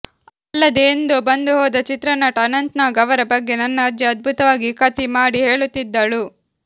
ಅಲ್ಲದೆ ಎಂದೋ ಬಂದು ಹೋದ ಚಿತ್ರನಟ ಅನಂತನಾಗ್ ಅವರ ಬಗ್ಗೆ ನನ್ನ ಅಜ್ಜಿ ಅದ್ಭುತವಾಗಿ ಕತಿ ಮಾಡಿ ಹೇಳುತ್ತಿದ್ದಳು